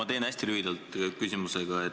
Ma teen hästi lühidalt.